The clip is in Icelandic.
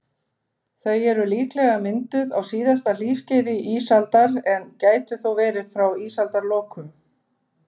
Þau eru líklega mynduð á síðasta hlýskeiði ísaldar, en gætu þó verið frá ísaldarlokum.